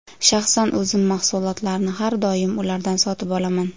Shaxsan o‘zim mahsulotlarni har doim ulardan sotib olaman.